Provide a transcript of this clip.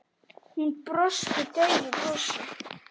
Hún brosti daufu brosi.